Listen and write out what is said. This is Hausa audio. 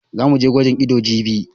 Za mu je gwajin ido jibi.